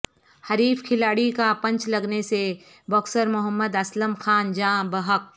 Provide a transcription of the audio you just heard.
حریف کھلاڑی کا پنچ لگنے سے باکسر محمد اسلم خان جاں بحق